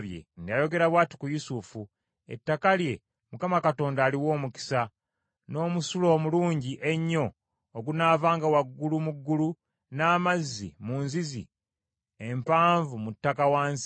Yayogera bw’ati ku Yusufu: “Ettaka lye Mukama Katonda aliwe omukisa, n’omusulo omulungi ennyo ogunaavanga waggulu mu ggulu n’amazzi mu nzizi empanvu mu ttaka wansi,